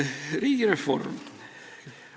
Riigireform.